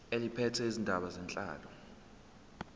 eliphethe izindaba zenhlalo